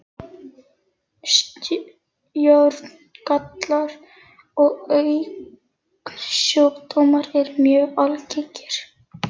Sjóngallar og augnsjúkdómar eru mjög algengir.